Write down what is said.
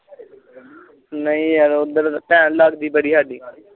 ਨਾਈ ਯਾਰ ਓਦਰ ਭੈਣ ਲਗਦੀ ਬ੍ੜੀ ਸਾਡੀ